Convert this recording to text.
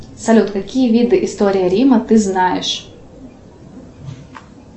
салют какие виды истории рима ты знаешь